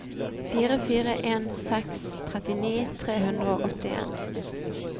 fire fire en seks trettini tre hundre og åttien